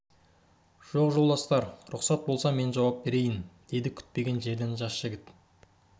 жоқ жолдастар рұқсат болса мен жауап берейін деді күтпеген жерден жас жігіт